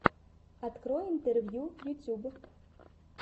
открой интервью ютуб